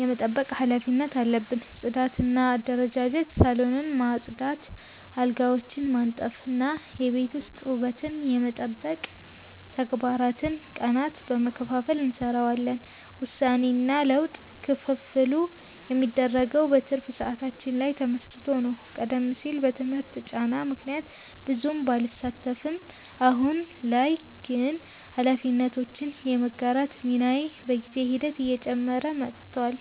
የመጠበቅ ኃላፊነት አለብን። ጽዳትና አደረጃጀት፦ ሳሎንን ማጽዳት፣ አልጋዎችን ማንጠፍ እና የቤት ውስጥ ውበትን የመጠበቅ ተግባራትን ቀናትን በመከፋፈል እንሰራዋለን። ውሳኔና ለውጥ፦ ክፍፍሉ የሚደረገው በትርፍ ሰዓታችን ላይ ተመስርቶ ነው። ቀደም ሲል በትምህርት ጫና ምክንያት ብዙም ባልሳተፍም፣ አሁን ላይ ግን ኃላፊነቶችን የመጋራት ሚናዬ በጊዜ ሂደት እየጨመረ መጥቷል።